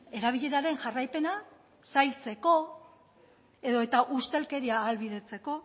erabileraren jarraipena zailtzeko edota ustelkeria ahalbidetzeko